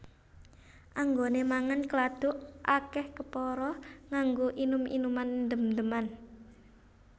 Anggone mangan keladuk akeh kepara nganggo inum inuman ndem ndeman